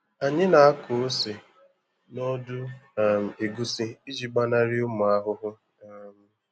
Anyị nako ose nọdụ um egusi iji gbanari ụmụ ahụhụ um